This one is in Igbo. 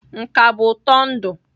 Nka bụ ụtọ ndụ.